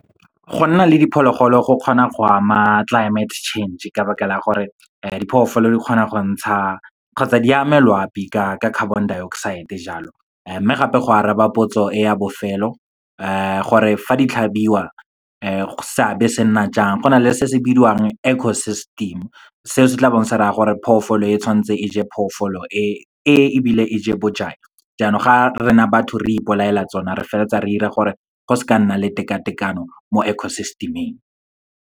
Go nna le diphologolo go kgona go ama climate change, ka baka la gore diphoofolo di kgona go ntsha kgotsa di ame loapi ka carbon dioxide jalo. Mme gape, go araba potso e ya bofelo gore fa di tlhabiwa seabe se nna jang, go na le se se bidiwang ecosystem. Seo se tla bong se raya gore phoofolo e tshwanetse e je phoofolo e ebile e je bojang, jaanong ga rena batho re ipolaela tsona, re feleletsa re 'ira gore go seka ga nna le tekatekano mo ecosystem-ing.